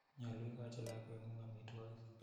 Nyalu ikochi lakwet ng'ung' amitwogik.